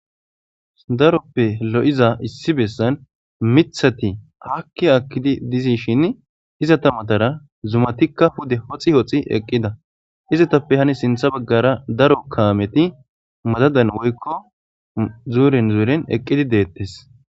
Daroppe lo7iza issi bessan mithati akki akkidi dizishin izata matara zumatikka hude hoxi hoxi eqqida izatappe hani sintha baggara daro kaameti madadan woykko zuuren zuuren eqqidi deettes.